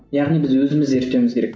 яғни біз өзіміз зерттеуіміз керек